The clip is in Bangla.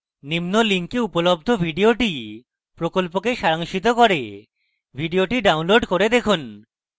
নিম্ন link উপলব্ধ video প্রকল্পকে সারাংশিত করে video download করে দেখুন